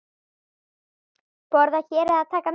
Borða hér eða taka með?